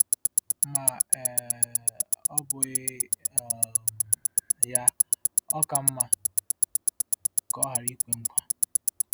Ma um ọ́ bụghị um ya, ọ ka mma ka ọ ghara ikwe nkwa.